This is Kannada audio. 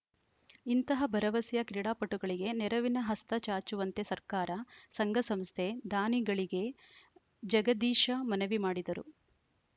ಇಂತಹ ಭರವಸೆಯ ಕ್ರೀಡಾಪಟುಗಳಿಗೆ ನೆರವಿನ ಹಸ್ತ ಚಾಚುವಂತೆ ಸರ್ಕಾರ ಸಂಘಸಂಸ್ಥೆ ದಾನಿಗಳಿಗೆ ಜಗದೀಶ ಮನವಿ ಮಾಡಿದರು